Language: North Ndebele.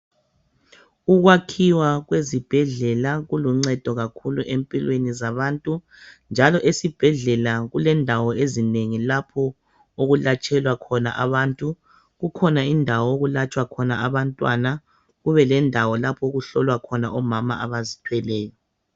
Ukwakhiwa kwezibhedlela kuluncedo kakhulu empilweni zabantu njalo esibhedlela kulendawo ezinengi lapho okulatshelwa khona abantu kukhona indawo okulatshwa khona abantwana kube lendawo lapho okuhlolwa khona omama abazithweleyo.